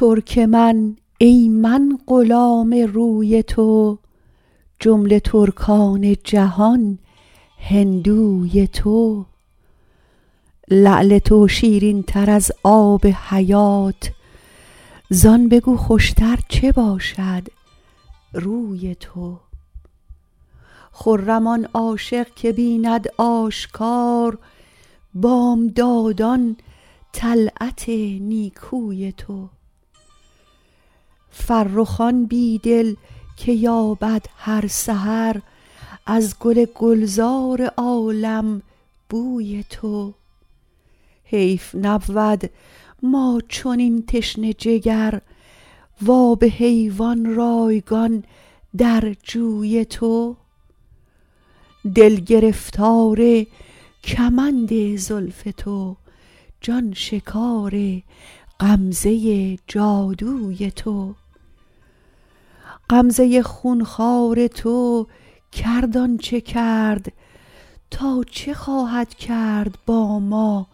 ترک من ای من غلام روی تو جمله ترکان جهان هندوی تو لعل تو شیرین تر از آب حیات زان بگو خوشتر چه باشد روی تو خرم آن عاشق که بیند آشکار بامدادان طلعت نیکوی تو فرخ آن بی دل که یابد هر سحر از گل گلزار عالم بوی تو حیف نبود ما چنین تشنه جگر و آب حیوان رایگان در جوی تو دل گرفتار کمند زلف تو جان شکار غمزه جادوی تو غمزه خونخوار تو کرد آنچه کرد تا چه خواهد کرد با ما